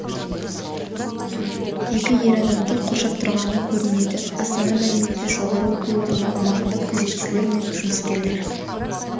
екі ер адамды қоршап тұрғаны көрінеді астана мәліметінше жоғары оқу орны аумағында күзетшілер мен жұмыскерлер